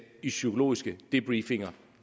i psykologiske debriefinger